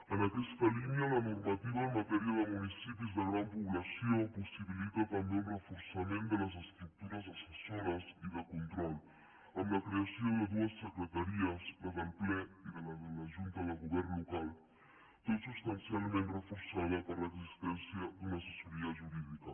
en aquesta línia la normativa en matèria de municipis de gran població possibilita també un reforçament de les estructures assessores i de control amb la creació de dues secretaries la del ple i la de la junta de govern local tot substancialment reforçada per l’existència d’una assessoria jurídica